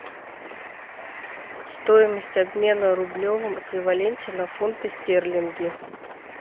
стоимость обмена в рублевом эквиваленте на фунты стерлинги